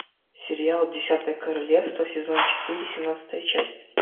сериал десятое королевство сезон четыре семнадцатая часть